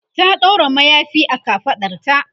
ta ɗaura mayafi a kafaɗarta